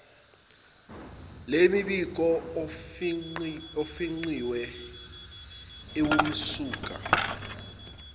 lemibiko efingqiwe iwumsuka